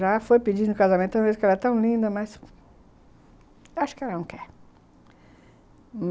Já foi pedindo casamento, talvez porque ela é tão linda, mas... acho que ela não quer.